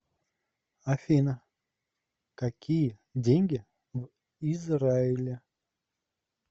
афина какие деньги в израиле